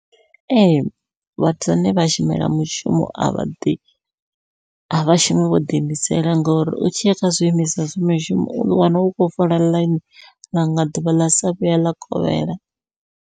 Ee vhathu vhane vha shumela mushumo avha ḓi, a vhashumi vho ḓi imisela ngori u tshiya kha zwiimiswa zwa mishumo uḓo wana u khou fola ḽaini ḽanga ḓuvha ḽa sa vhuya ḽa kovhela.